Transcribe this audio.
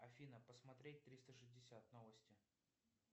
афина посмотреть триста шестьдесят новости